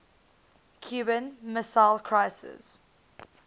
cuban missile crisis